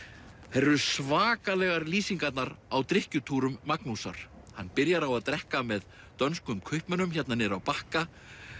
þær eru svakalegar lýsingarnar á Magnúsar hann byrjar á að drekka með dönskum kaupmönnum hérna niðri á Bakka